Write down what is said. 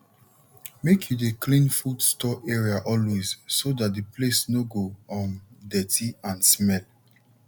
make you dey clean food store area always so that the place no go um dirty and smell